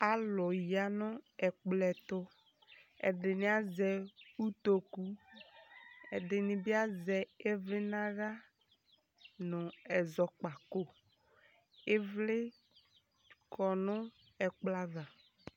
Alʋ ya nʋ ɛkplɔ ɛtʋ Ɛdɩnɩ azɛ utoku Ɛdɩnɩ bɩ azɛ ɩvlɩ nʋ aɣla nʋ ɛzɔkpako Ɩvlɩ kɔ nʋ ɛkplɔ ava